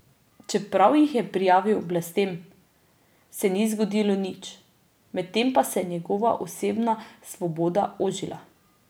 Čeprav jih je prijavil oblastem, se ni zgodilo nič, medtem pa se je njegova osebna svoboda ožila.